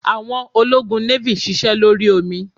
Àwọn ológun navy sise lórí omi